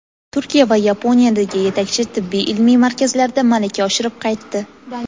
Turkiya va Yaponiyadagi yetakchi tibbiy ilmiy markazlarda malaka oshirib qaytdi.